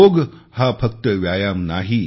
योग हा फक्त व्यायाम नाही